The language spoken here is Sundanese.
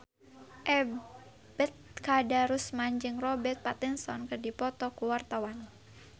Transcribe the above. Ebet Kadarusman jeung Robert Pattinson keur dipoto ku wartawan